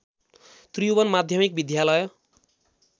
त्रिभुवन माध्यमिक विद्यालय